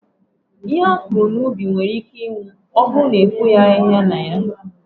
Ihe akọrọ n'ubi nwere íké ịnwụ ma ọbụrụ na efoghi ahịhịa na ya.